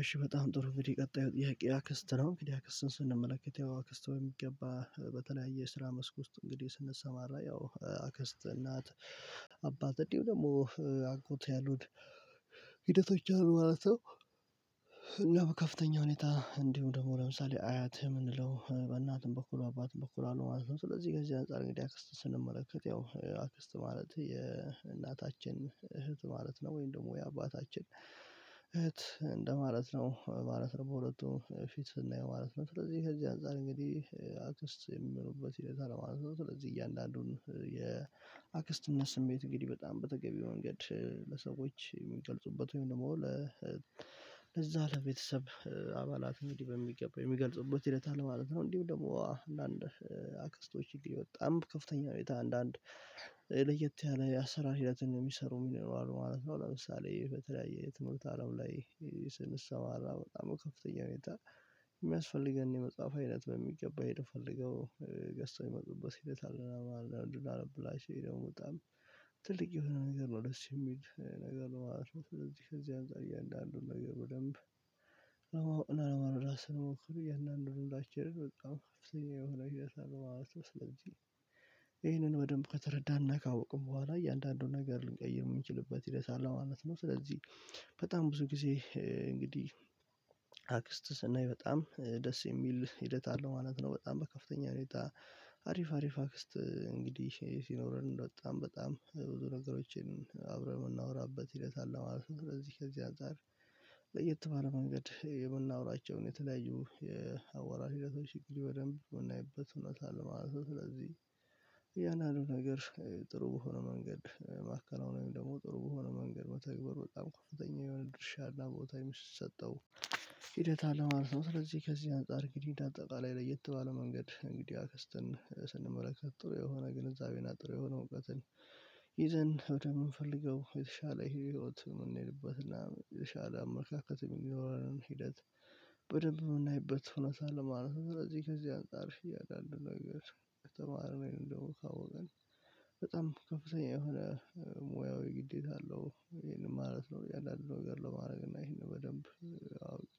እሺ በጣም ጥሩ እንድግዲህ ቀጣዩ ጥያቄ አክስት ነው እንግዲህ አክስትን ስንመለከት ያው አክስት በሚገባ በተለያየ የስራ መስክ ውስጥ እንግዲህ ስንሰማራ ያው አክስት እናት አባት እንዲሁ ደግሞ አጎት ያሉት ሂደቶች አሉ ማለት ነው። እና በከፍተኛ ሁኔታ እንዲሁም ደግሞ ለምሳሌ አያት የምንለው በእናትም በኩል አባትም በኩል አሉ ማለት ነው። ስለዚህ ከዚህ አንፃር እንግዲህ አክስት ስንመለከት ያው አክስት ማለት የእናታችን እህት ማለት ነው ወይም ደግሞ የአባታችን እንደማለት ነው ማለት ነው በሁለቱ ፊት ስናየው ማለት ነው። ስለዚህ ከዚህ አንፃር እንግዲህ አክስት የሚሉበት ሂደት አለ ማለት ነው። ስለዚህ እያንዳንዱን የአክስትነት ስሜት እንግዲህ በጣም በተገቢው መንገድ ለሰዎች የሚገልጹበት ወይም ደግሞ ለዛ ለቤተሰብ አባላት እንግዲህ በሚገባው የሚገልጽበት ሂደት አለ ማለት ነው። እንዲሁ ደግሞ አንዳንድ አክስቶች እንግዲህ በጣም በከፍተኛ ሁኔታ አንዳንድ ለየት ያለ የአሰራር ሂደትን የሚሰሩም ይኖራሉ ማለት ነው። ለምሳሌ በተለያየ ትምህርት አለም ላይ ስንሰማራ በጣም በከፍተኛ ሁኔታ የሚያስፈልገን የመጽሐፍ አይነት በሚገባ ሄደው ፈልገው ገዝተው የሚመጡበት ሂደት አለ። አንዳንዱ እንድናነብላቸው ይልውጣል ትልቅ የሆነ ነገር ነው ደስ የሚል ነገር ነው ማለት ነው። ስለዚህ ከዚህ አንፃር እያንዳንዱን ነገር በደንብ እና ራስህን ሞክሩ የእናንተን እንዳችልህ በጣም ከፍተኛ የሆነ ህይወት አለው ስለዚህ ይሄንን በደንብ ከተረዳንና ካወቅን በኋላ እያንዳንዱን ነገር ልንቀይር የምንችልበት ሂደት አለ ማለት ነው። ስለዚህ በጣም ጊዜ እንግዲህ አክስት ስናይ በጣም ደስ የሚል ሂደት አለ ማለት ነው። በጣም በከፍተኛ ሁኔታ አሪፍ አሪፍ አክስት እንግዲህ ሲኖረን እንደወጣን በጣም ብዙ ነገሮችን አብረን የምናወራበት ሂደት አለ ማለት ነው። እዚህ ከዚህ አጋር ለየት ባለ መንገድ የምናወራቸውን የተለያዩ የአወራር ሂደቶችን በደንብ የምናይበት እውነት አለ ማለት ነው። ስለዚህ እያንዳንዱን ነገር ጥሩ በሆነ መንገድ ማከናወን ወይም ደግሞ ጥሩ በሆነ መንገድ መተግበር በጣም ከፍተኛ የሆነ ድርሻ እና ቦታ የሚሰጠው ሂደት አለ ማለት ነው። ስለዚህ ከዚህ አንፃር እንግዲህ እንደ አጠቃላይ ለየት ባለ መንገድ እንግዲህ አክስትን ስንመለከት ጥሩ የሆነ ግንዛቤን ጥሩ የሆነ እውቀትን ይዘን ወደየምንፈልገው የተሻለ ህይወት የምንሄድበትና የተሻለ አመለካከት የሚኖረንን ሂደት በደንብ የምናይበት ሁነታ አለ ማለት ነው። ስለዚህ ከዚህ አንፃር እያንዳንዱ ነገር ከተማርን ካወቀን በጣም ከፍተኛ የሆነ ሙያው ግዴታ አለው ይሄንን ማለት ነው። እያንዳንዱን ነገር ለማድረግ እና ይሄንን በደንብ አውቄ